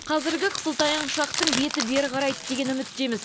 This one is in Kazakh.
қазіргі қысылтаяң шақтың беті бері қарайды деген үміттеміз